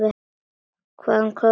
Hvað komum við með?